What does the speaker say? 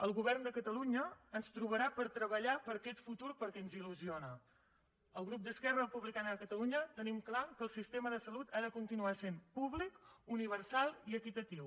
el govern de catalunya ens trobarà per treballar per aquest futur perquè ens ilrepublicana de catalunya tenim clar que el sistema de salut ha de continuar sent públic universal i equitatiu